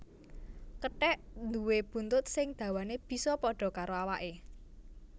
Kethèk nduwé buntut sing dawané bisa pada karo awaké